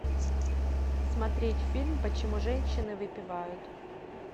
смотреть фильм почему женщины выпивают